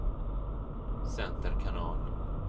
center kanal